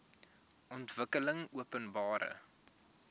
ontwikkelingopenbare